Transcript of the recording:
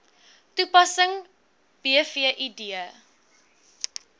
toepassing bv id